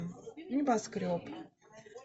небоскреб